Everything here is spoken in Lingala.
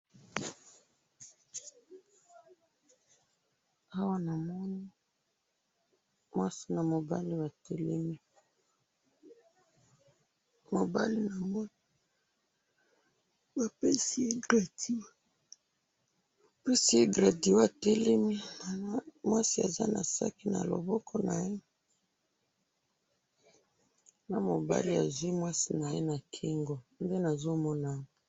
awa namoni, mwasi na mobali ba telemi, mobali nango, bapesi ye graduat, bapesi ye graduat, atelemi, mwasi aza na sac na loboko naye, na mobali azwi mwasi naye na kingo, nde nazo mona awa